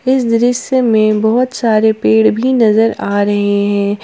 इस दृश्य में बहुत सारे पेड़ भी नजर आ रहे हैं।